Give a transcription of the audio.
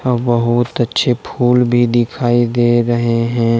बहोत अच्छे फूल भी दिखाई दे रहे हैं।